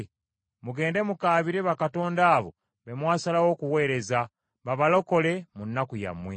Mugende mukaabire bakatonda abo be mwasalawo okuweereza, babalokole mu nnaku yammwe.”